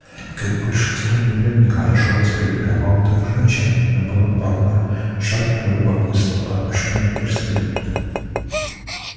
как большинство невинных хорошо воспитанных молодых женщин она была полна жадного любопытства по отношению к проституткам